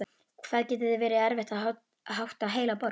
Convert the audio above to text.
Hvað það getur verið erfitt að hátta heila borg!